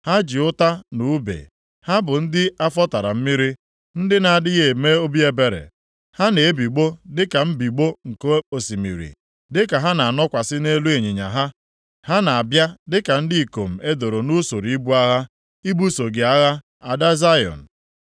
Ha ji ụta na ùbe, ha bụ ndị afọ tara mmiri, ndị na-adịghị eme obi ebere. Ha na-ebigbọ dịka mbigbọ nke osimiri, dịka ha na-anọkwasị nʼelu ịnyịnya ha. Ha na-abịa dịka ndị ikom e doro nʼusoro ibu agha, ibuso gị agha, Ada Zayọn.”